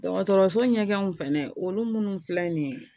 Dɔgɔtɔrɔso ɲɛgɛnw fɛ olu minnu filɛ nin ye